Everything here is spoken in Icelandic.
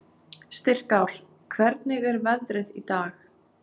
Styrkár, hvernig er veðrið í dag?